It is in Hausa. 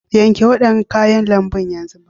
Yanke waɗannan kayan lambu yanzu!!